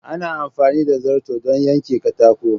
Ana amfani da zarto don yanke katako.